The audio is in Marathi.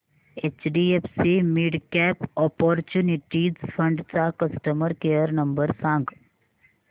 एचडीएफसी मिडकॅप ऑपर्च्युनिटीज फंड चा कस्टमर केअर नंबर सांग